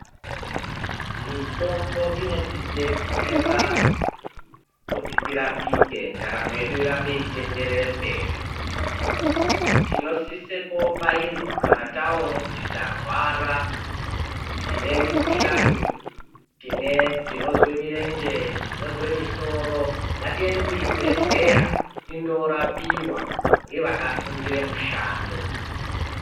Mitombo inotidetsera kuti tirapike ndaramo yedu irambe yeiendere mberi tinosise kubairwa kana taone kuti tarwara tine mikhuhlani ,tinozwe mirenje ,tinozwe musoro ngatiyende kuzvibhehleya korapiwa ngeakafundire mushando .